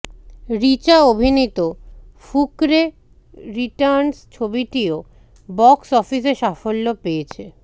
রিচা অভিনীত ফুকরে রিটার্নস ছবিটিও বক্স অফিসে সাফল্য পেয়েছে